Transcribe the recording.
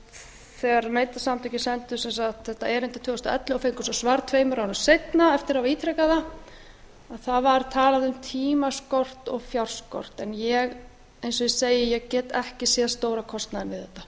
þegar neytendasamtökin sendu þetta erindi tvö þúsund og ellefu og fengu svo svar tveimur árum seinna eftir að hafa ítrekað það að það var talað um tímaskort og fjárskort en eins og ég segi ég get ekki séð stóra kostnaðinn við þetta